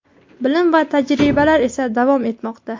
bilim va tajribalar esa davom etmoqda.